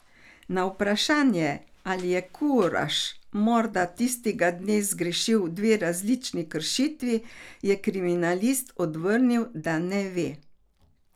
Na vprašanje, ali je Kuraš morda tistega dne zagrešil dve različni kršitvi, je kriminalist odvrnil, da ne ve.